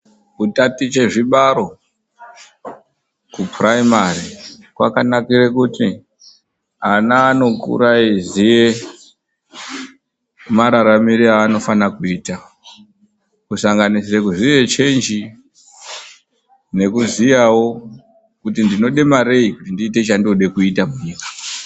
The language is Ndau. Kutaticha zvibalo ku puraimari kwakanakira kuti ana anokura eiziya mararamire aanofana kuita kusanganisira kuziye chenji, nekuziyawo kuti ndinoda marei kuti ndiite chandinoda kuita munyika.